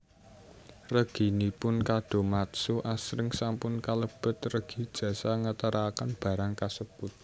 Reginipun kadomatsu asring sampun kalebet regi jasa ngeteraken barang kasebut